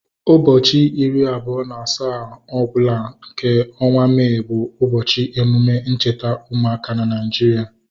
Ụbọchị iri abụọ na asaa ọbụla nke ọnwa May bụ ụbọchị emume ncheta ụmụaka na Nigeria